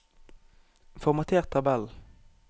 Formater tabell